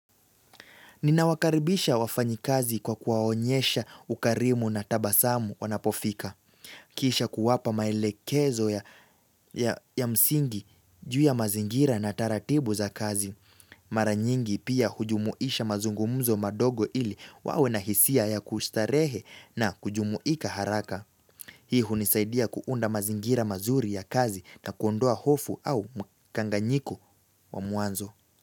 Ninawakaribisha wafanyikazi kwa kuwaonyesha ukarimu na tabasamu wanapofika. Kisha kuwapa maelekezo ya msingi juu ya mazingira na taratibu za kazi. Mara nyingi pia hujumuisha mazungumzo madogo ili wawe na hisia ya kustarehe na kujumuika haraka. Hii hunisaidia kuunda mazingira mazuri ya kazi na kuondoa hofu au mkanganyiko wa mwanzo.